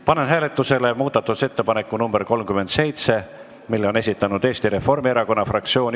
Panen hääletusele muudatusettepaneku nr 37, mille on esitanud Eesti Reformierakonna fraktsioon.